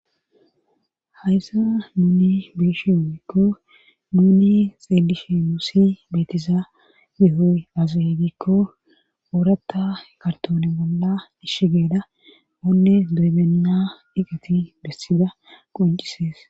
Hayssa nuni beeshe ogiikko nuni xeedishe muusi beetiza bihoy azey giikko ooratta kartone bolla dishi geeda oonne doybenna diqeti bessida qoncisees.